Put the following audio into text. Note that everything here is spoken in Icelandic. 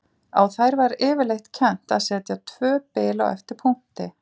Á þær var yfirleitt kennt að setja tvö bil á eftir punkti.